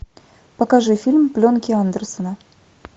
покажи фильм пленки андерсона